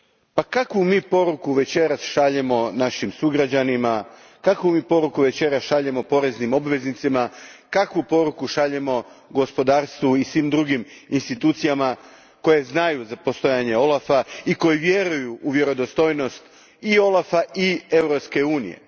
Pa kakvu mi poruku večeras šaljemo našim sugrađanima, kakvu mi poruku večeras šaljemo poreznim obveznicima, kakvu poruku šaljemo gospodarstvu i svim drugim institucijama koje znaju za postojanje OLAF a i koje vjeruju u vjerodostojnost i OLAF a i Europske unije?